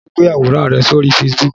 Ṣé o gbé àwòrán rẹ sórí Facebook?